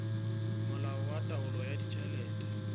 molao wa taolo ya ditjhelete